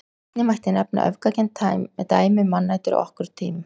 Einnig mætti nefna öfgakennd dæmi um mannætur á okkar tímum.